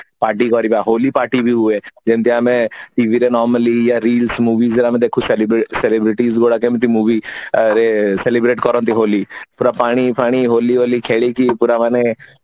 party କରିବା Holi party ବି ହୁଏ ଯେମିତି ଆମେ TV ରେ normally Real movies ରେ ଆମେ ଦେଖୁ celebrate celebrities ଗୁଡା କେମିତି movie ରେ celebrate କରନ୍ତି ହୋଲି ପୁରା ପାଣି ଫାଣି ହୋଲି ଫୋଲି ଖେଳିକି ପୁରା ମାନେ